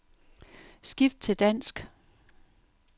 Skift til dansk.